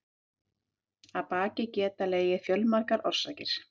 Að baki geta legið fjölmargar orsakir.